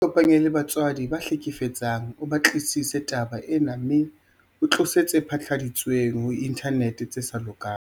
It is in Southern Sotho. Ikopanye le batswadi ba ya hlekefetsang o batlisise taba ena mme o tlose tse phatlaladitsweng ho inthanete tse sa lokang.